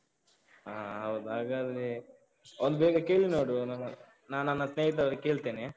ಹ ಹೌದು ಹಾಗಾದ್ರೆ, ಒಂದು ಬೇಗ ಕೇಳಿ ನೋಡು ನಾನು ನನ್ನ ಸ್ನೇಹಿತರ ಹತ್ರ ಕೇಳ್ತೇನೆ.